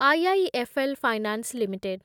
IIFL finance limited